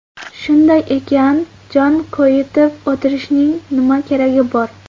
Shunday ekan, jon koyitib o‘tirishning nima keragi bor?